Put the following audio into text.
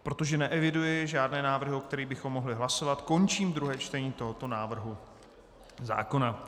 Protože neeviduji žádné návrhy, o kterých bychom mohli hlasovat, končím druhé čtení tohoto návrhu zákona.